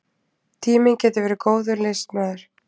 Tíminn getur verið góður liðsmaður.